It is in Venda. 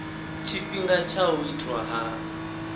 tshifhinga tsha u itwa ha